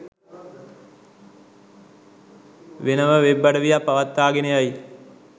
වෙනම වෙබ් අඩවියක් පවත්වාගෙන යයි